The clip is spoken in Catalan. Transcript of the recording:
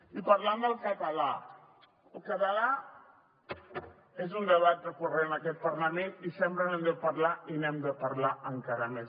i parlant del català el català és un debat recurrent en aquest parlament i sempre n’hem de parlar i n’hem de parlar encara més